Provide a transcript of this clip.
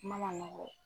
Kuma man nɔgɔ